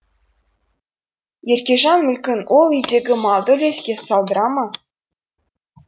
еркежан мүлкін ол үйдегі малды үлеске салдыра ма